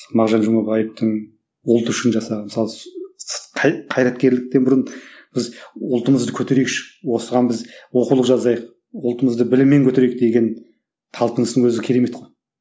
мағжан жұмабаевтың ұлт үшін жасаған мысалы қайраткерліктен бұрын біз ұлтымызды көтерейікші осыған біз оқулық жазайық ұлтымызды біліммен көтерейік деген талпыныстың өзі керемет қой